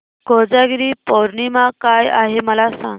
कोजागिरी पौर्णिमा काय आहे मला सांग